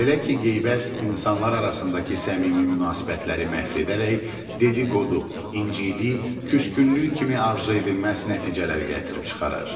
Belə ki, qeybət insanlar arasındakı səmimi münasibətləri məhv edərək dediqodu, incilik, küskünlük kimi arzu edilməz nəticələri gətirib çıxarır.